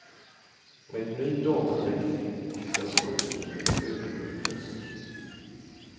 Med ny datateknik ska språkhinder överbryggas.